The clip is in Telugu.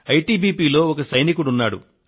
ఐటిబిపి లో ఒక సైనికుడు ఉన్నాడు